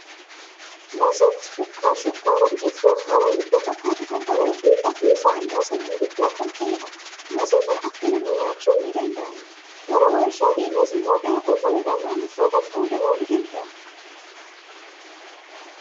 Moseen shukkaaraa biqiltuu baala hiddaa fakkaatu kan qabuu fi ofii isaa immoo sanyii hiddaa kan ta'edha. Mosee kana affeelanii nyaachuun ni danda'ama. Gara waarshaa deemees immoo daakuu ta'uudhaan maamiltootaaf qoodamuu ni danda'a.